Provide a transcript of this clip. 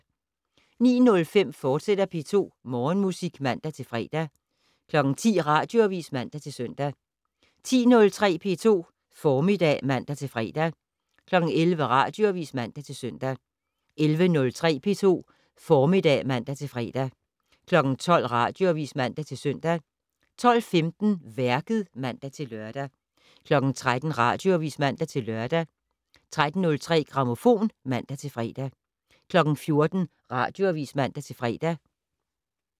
09:05: P2 Morgenmusik, fortsat (man-fre) 10:00: Radioavis (man-søn) 10:03: P2 Formiddag (man-fre) 11:00: Radioavis (man-søn) 11:03: P2 Formiddag (man-fre) 12:00: Radioavis (man-søn) 12:15: Værket (man-lør) 13:00: Radioavis (man-lør) 13:03: Grammofon (man-fre) 14:00: Radioavis (man-fre)